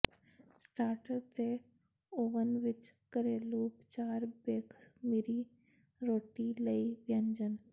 starter ਤੇ ਓਵਨ ਵਿਚ ਘਰੇਲੂ ਉਪਚਾਰ ਬੇਖਮੀਰੀ ਰੋਟੀ ਲਈ ਵਿਅੰਜਨ